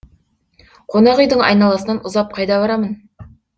қонақүйдің айналасынан ұзап қайда барамын